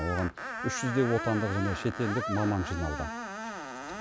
оған үш жүздей отандық және шетелдік маман жиналды